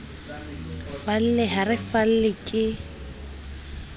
falle ha re falle ke